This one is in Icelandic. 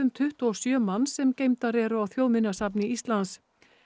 tuttugu og sjö manns sem geymdar eru á Þjóðminjasafni Íslands